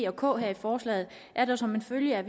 og k her i forslaget er der som en følge af